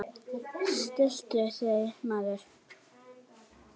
Stilltu þig, maður!